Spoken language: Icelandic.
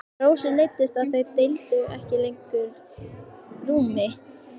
Rósu leiddist að þau deildu ekki lengur rúmi.